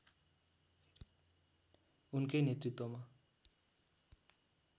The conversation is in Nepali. उनकै नेतृत्वमा